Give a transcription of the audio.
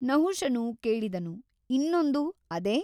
ನಹುಷನು ಕೇಳಿದನು ಇನ್ನೊಂದು ಅದೇ ?